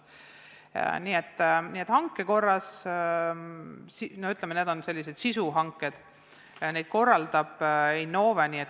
Nii et hangetest, ütleme, selliseid sisuhankeid korraldab Innove.